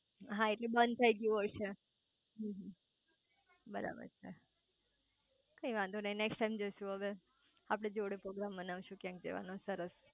હા એટલે બંધ થઇ ગયું હશે હમ્મ હમ્મ બરાબર છે કઈ વાંધો નઈ નેક્સટ ટાઈમ જઈસુ હવે આપડે જોડે પોગ્રામ બનાઈ શુ ક્યાંક જવાનો સરસ